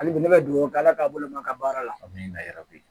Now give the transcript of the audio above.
Hali bi ne bɛ dugawu kɛ ala k'a bolomaka baara la yɔrɔ ye